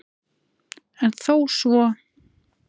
En þó svo